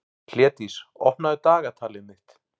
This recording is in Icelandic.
Hlédís, opnaðu dagatalið mitt.